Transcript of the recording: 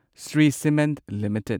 Shri cement limited